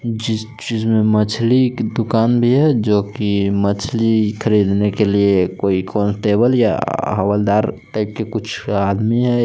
मछली की दुकान भी है जो कि मछली खरीदने के लिए कोई कांस्टेबल या हवलदार टाइप के कुछ आदमी है।